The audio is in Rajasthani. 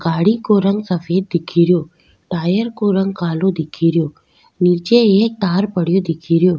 गाड़ी को रंग सफ़ेद दिखेरयो टायर को रंग कालाे दिखेरयो नीचे एक तार पड़ियो दिखेरयो।